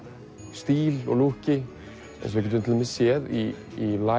stíl og lúkki eins og við getum séð í